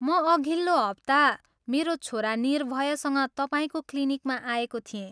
म अघिल्लो हप्ता मेरो छोरा निर्भयसँग तपाईँको क्लिनिकमा आएको थिएँ।